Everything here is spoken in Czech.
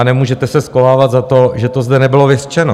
A nemůžete se schovávat za to, že to zde nebylo vyřčeno.